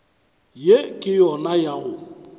ye ke yona ya go